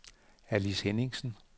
Alice Henningsen